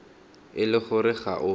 e le gore ga o